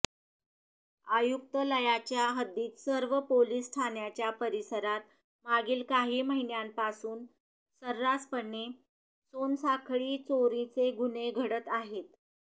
आयुक्तालयाच्या हद्दीत सर्व पोलीस ठाण्यांच्या परिसरात मागील काही महिन्यांपासून सर्रासपणे सोनसाखळी चोरीचे गुन्हे घडत आहेत